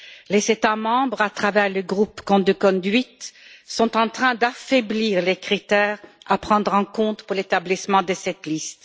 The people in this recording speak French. Les États membres, à travers le groupe code de conduite sont en train d'affaiblir les critères à prendre en compte pour l'établissement de cette liste.